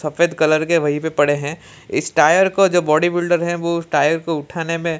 सफेद कलर के वहीं पे पड़े हैं इस टायर को जो बॉडी बिल्डर है वो उस टायर को उठाने में--